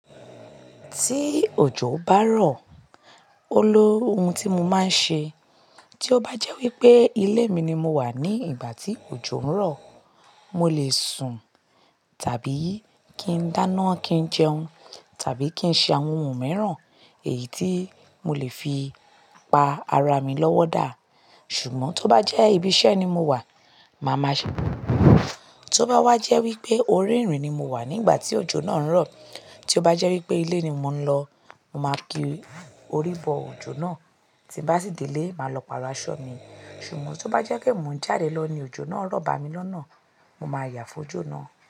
Tí òjò bá rọ̀, ó ló ohun tí mo máa ń ṣe. Tí ó bá jẹ́ wípé ilé mi ni mo wà ní ìgbà tí òjò ń rọ̀, mo lè sùn tàbí kí n dáná, kí n jẹun, tàbí kí n ṣe àwọn ohun mìíràn èyí tí mo lè fi pa ara mi lọ́wọ́ dá. Ṣùgbọ́n tó bá jẹ́ ibi iṣẹ́ ni mo wà, màá máa ṣe-- tó bá wá jẹ́ wípé orí ìrìn ni mo wà nígbà tí òjò náà ń rọ̀, tí ó bá jẹ́ wípé ilé ni mò ń lọ, mo máa kí orí bọ òjò náà, tí bá sì dé ilé, màá lọ pàrọ̀ aṣọ mi. Ṣùgbọ́n tó bá jẹ́ pé mò ń jáde lọ ní òjò náà ń rọ̀ bà mí lọ́nà, mo máa yà fójó náà.